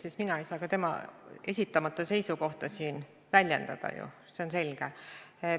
Seega mina ei saa ka nende esitamata seisukohta siin väljendada, see on ju selge.